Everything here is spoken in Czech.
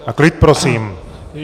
A klid prosím!